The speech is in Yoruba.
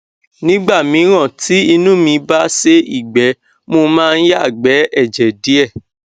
nígbà míràn tí inú mí bá sé ìgbẹ mo máa ń yàgbẹ ẹjẹ díẹ